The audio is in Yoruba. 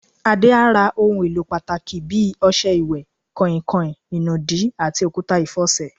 Adé á ra ohun èlò pàtàkì bí i o̩s̩e̩ ìwè̩, kàìnkàìn, ìnùdí, àti òkúta ìfo̩sè̩.